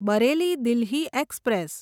Bareilly Delhi express